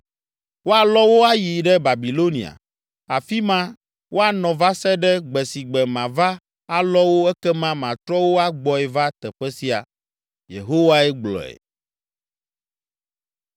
‘Woalɔ wo ayi ɖe Babilonia, afi ma woanɔ va se ɖe gbe si gbe mava alɔ wo ekema matrɔ wo agbɔe va teƒe sia.’ ” Yehowae gblɔe.